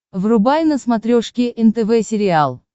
врубай на смотрешке нтв сериал